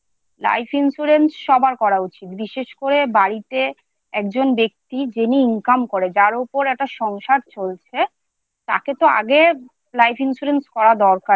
বিশেষ করে বাড়িতে একজন ব্যক্তি যিনি Income করে যার উপর একটা সংসার চলছে তাকে তো আগে Life insurance করা দরকার।